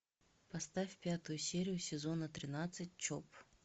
поставь пятую серию сезона тринадцать чоп